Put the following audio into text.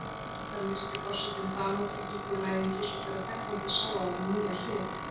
Þar leysti forsetinn Danadrottningu úr læðingi, svo að þegnarnir sáu á henni nýja hlið.